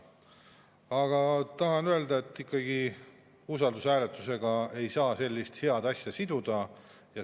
Aga tahan ikkagi öelda, et usaldushääletusega ei saa sellist head asja siduda.